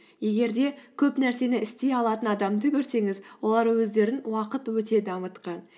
егер де көп нәрсені істей алатын адамды көрсеңіз олар өздерін уақыт өте дамытқан